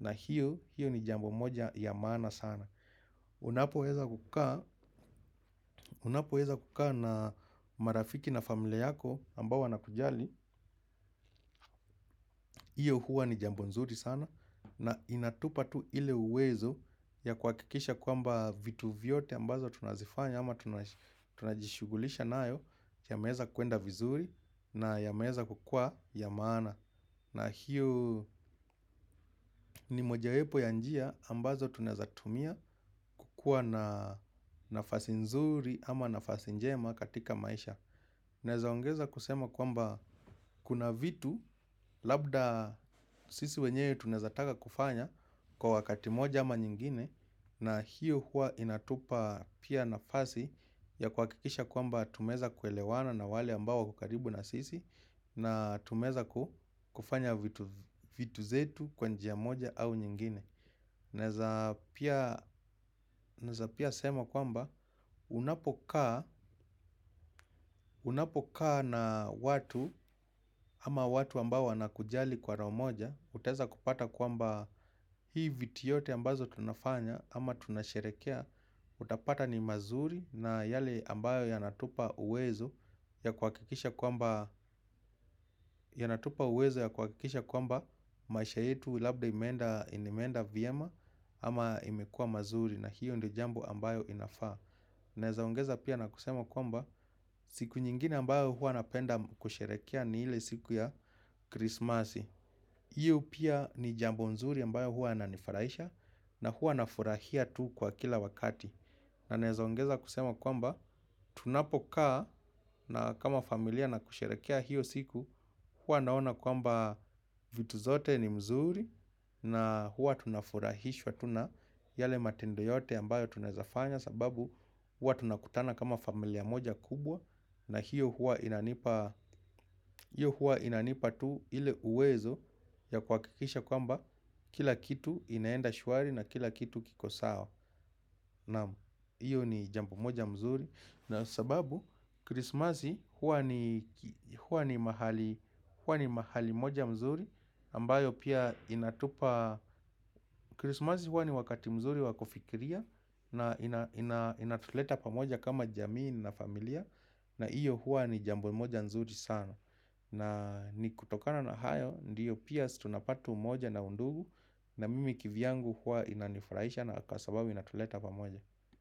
Na hiyo ni jambo moja ya maana sana. Unapo weza kukaa na marafiki na familia yako ambao wana kujali, hiyo huwa ni jambo nzuri sana na inatupa tu ile uwezo ya kuhakikisha kwamba vitu vyote ambazo tunazifanya ama tunajishughulisha nayo ya meweza kuenda vizuri na ya meweza kukua ya maana. Na hiyo ni mojawepo ya njia ambazo tunaeza tumia kuwa na nafasi nzuri ama nafasi njema katika maisha. Naezaongeza kusema kwamba kuna vitu labda sisi wenyewe tunaeza taka kufanya kwa wakati moja ama nyingine. Na hiyo huwa inatupa pia nafasi ya kuhakikisha kwamba tumeweza kuelewana na wale ambao wako karibu na sisi. Na tumeweza kufanya vitu zetu kwa njia moja au nyingine. Neza pia sema kwamba unapokaa unapokaa na watu ama watu ambao wana kujali kwa roho moja. Utaweza kupata kwamba hii vitu yote ambazo tunafanya ama tunasherehekea. Utapata ni mazuri na yale ambayo yanatupa uwezo yanatupa uwezo ya kuhakikisha kwamba maisha yetu labda imeenda vyema ama imekuwa mazuri na hiyo ndio jambo ambayo inafaa. Naeza ongeza pia na kusema kwamba siku nyingine ambayo huwa napenda kusherehekea ni ile siku ya krismasi. Hiyo pia ni jambo nzuri ambayo huwa yananifurahisha na huwa nafurahia tu kwa kila wakati. Na naeza ongeza kusema kwamba tunapokaa na kama familia na kusherehekea hiyo siku huwa naona kwamba vitu zote ni mzuri na huwa tunafurahishwa tu na yale matendo yote ambayo tunawezafanya sababu huwa tunakutana kama familia moja kubwa na hiyo huwa inanipa tu ile uwezo ya kuhakikisha kwamba kila kitu inaenda shwari na kila kitu kiko sawa. Naam hiyo ni jambo moja mzuri na sababu krismasi huwa ni mahali moja mzuri ambayo pia inatupa krismasi huwa ni wakati mzuri wakufikiria na inatuleta pamoja kama jamii na familia. Na iyo huwa ni jambo moja mzuri sana. Na ni kutokana na hayo ndiyo pia sisi tunapata umoja na undugu na mimi kivyangu huwa inanifurahisha na kwa sababu inatuleta pamoja.